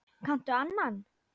Kanntu annan?